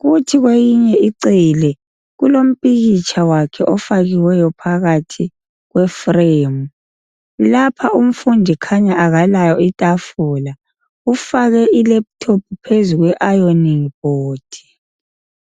Kuthi kweyinye icele kulompikitsha wakhe ofakiweyo phakathi kwefremu. Lapha umfundi khanya akalayo itafula ufake ilephuthophu phezu kweayoningi bhodi.